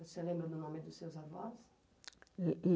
Você lembra do nome dos seus avós? E e